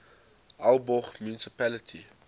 aalborg municipality